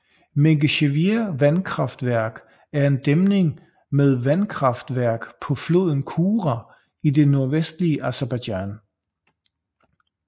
Mingechevir vandkraftværk er en dæmning med vandkraftværk på floden Kura i det nordvestlige Aserbajdsjan